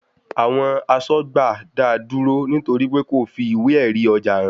Àwọn asọ́gbà dáa dúró nítorí pé kò fi ìwé èrì ọjà hàn